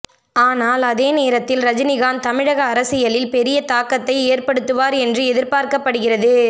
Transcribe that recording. ஆனால் அதே நேரத்தில் ரஜினிகாந்த் தமிழக அரசியலில் பெரிய தாக்கத்தை ஏற்படுத்துவார் என்று எதிர்பார்க்கப்படுகிறது